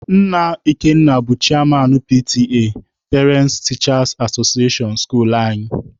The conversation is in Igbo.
Nna Ikenna bụ cheyaman PTA(parents/teachers association) skuluu anyị.